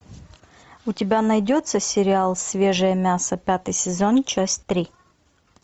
у тебя найдется сериал свежее мясо пятый сезон часть три